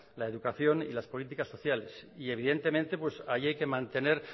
la educación y las políticas sociales y evidentemente ahí hay que mantener